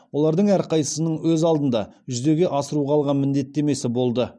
олардың әрқайсысының өз алдына жүзеге асыруға алған міндеттемесі болды